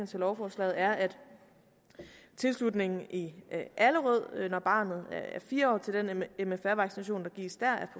til lovforslaget er at tilslutningen i allerød når barnet er fire år til den mfr vaccination der gives der er